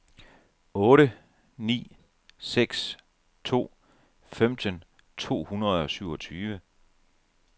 otte ni seks to femten to hundrede og syvogtyve